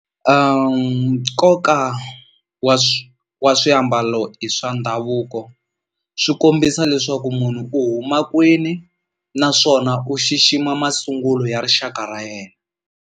Nkoka wa wa swiambalo swa ndhavuko swi kombisa leswaku munhu u huma kwini naswona u xixima masungulo ya rixaka ra yena.